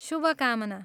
शुभकामना!